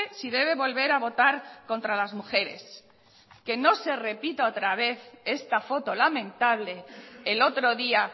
si debe volver a votar contra las mujeres que no se repita otra vez esta foto lamentable el otro día